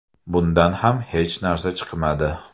Bundan ham hech narsa chiqmadi.